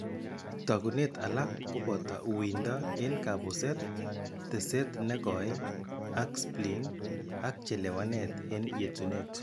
Taakunet alak koboto wuuyindo en kapuset, teset en kooy ak spleen ak chelewanet en yetunet.